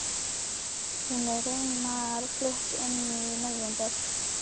Hún er raunar flutt inn í nóvember.